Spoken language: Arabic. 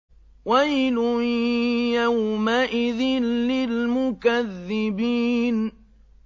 وَيْلٌ يَوْمَئِذٍ لِّلْمُكَذِّبِينَ